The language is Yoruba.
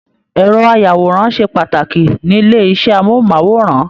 Ẹrọ ayàwòrán ṣe pàtàkì nílé iṣẹ amohunmaworan.